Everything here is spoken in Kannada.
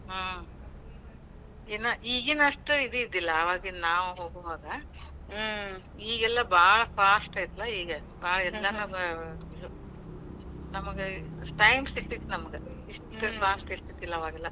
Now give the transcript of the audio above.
ಹ್ಮ್ ಏನ್ ಈಗಿನಷ್ಟ ಇದ್ ಇದ್ದಿಲ್ಲಾ, ಆವಾಗ ನಾವು ಹೋಗೋವಾಗ. ಈಗೇಲ್ಲಾ ಭಾಳ್ fast ಐತೆಲ್ಲಾ ಈಗ . ನಮಗ time ಸಿಗ್ತಿತ್ ನಮಗ. ಇಷ್ಟ fast ಇದ್ದಿಲ್ಲಾ ಅವಾಗೆಲ್ಲ.